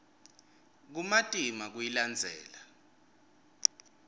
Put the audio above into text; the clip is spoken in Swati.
kumatima kuyilandzela